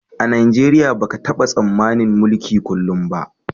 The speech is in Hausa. A Najeriya ba ka taba tsammanin mulki kullum ba